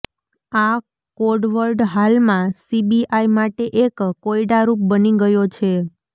આ કોડવર્ડ હાલમાં સીબીઆઈ માટે એક કોયડારૂપ બની ગયો છે